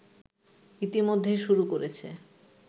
ইতোমধ্যেই শুরু করেছে